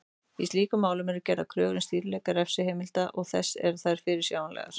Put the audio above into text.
Í slíkum málum eru gerðar kröfur um skýrleika refsiheimilda og þess að þær séu fyrirsjáanlegar.